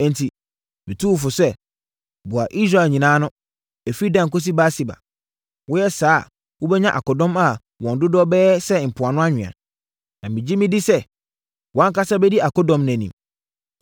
“Enti, metu wo fo sɛ, boa Israel nyinaa ano, ɛfiri Dan kɔsi Beer-Seba. Woyɛ saa a wobɛnya akodɔm a wɔn dodoɔ bɛyɛ sɛ mpoano anwea. Na megye medi sɛ wʼankasa bɛdi akodɔm no anim.